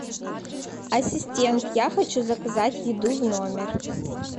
ассистент я хочу заказать еду в номер